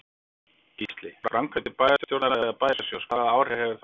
Gísli: Framkvæmdir bæjarstjórnar eða bæjarsjóðs, hvaða áhrif hefur það á þær?